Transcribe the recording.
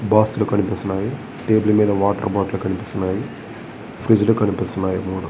Box లు కనిపిస్తున్నాయి table మీద వాటర్ బాటిల్ కనిపిస్తునాయి ఫ్రీడ్జ్ లు కనిపిస్తున్నాయి మూడు.